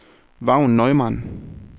Vagn Neumann